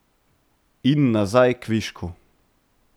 In nazaj kvišku.